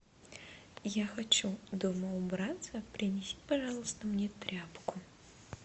я хочу дома убраться принеси пожалуйста мне тряпку